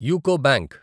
UCO bank